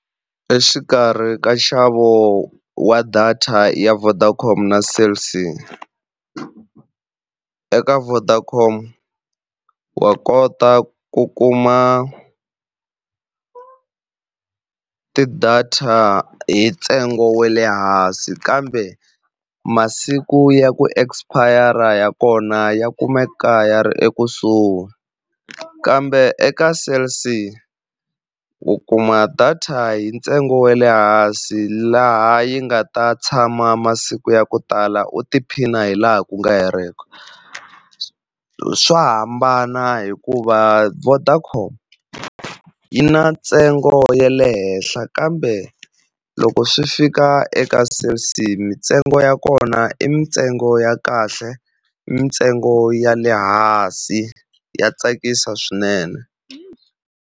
Exikarhi ka nxavo wa data ya Vodacom na Cell C, eka Vodacom wa kota ku kuma ti-data hi ntsengo wa le hansi kambe masiku ya ku expire ya kona ya kumeka ya ri ekusuhi. Kambe eka Cell C u kuma data hi ntsengo wa le hansi laha yi nga ta tshama masiku ya ku tala u tiphina hilaha ku nga heriki. Swo hambana hikuva Vodacom yi na ntsengo ya le henhla kambe loko swi fika eka Cell C, mintsengo ya kona i mintsengo ya kahle mintsengo ya le hansi ya tsakisa swinene.